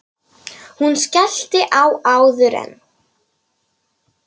Hún skellti á áður en